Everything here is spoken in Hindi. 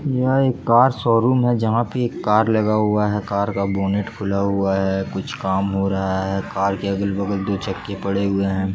यह एक कार शोरूम है जहां पर कार लगा हुआ है कार का बोनेट खुला हुआ है कुछ काम हो रहा है कार के अगल बगल दो चक्के पड़े हुए है।